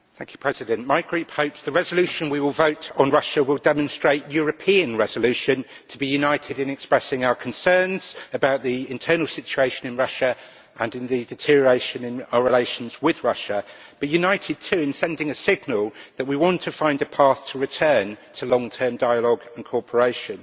Mr President, my group hopes that the resolution we adopt on Russia will demonstrate European resolve to be united in expressing our concerns about the internal situation in Russia and the deterioration in our relations with Russia, but united, too, in sending a signal that we want to find a path to return to long term dialogue and cooperation.